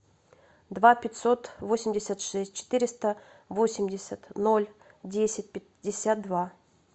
два пятьсот восемьдесят шесть четыреста восемьдесят ноль десять пятьдесят два